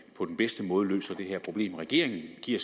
på den bedste måde løser det her problem regeringen giver